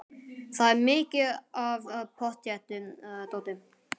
Það er mikið af pottþéttu dóti.